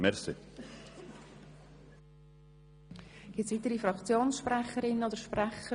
Gibt es weitere Fraktionssprecherinnen oder sprecher?